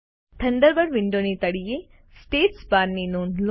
Thunderbird વિન્ડોની તળિયે status બારની નોંધ લો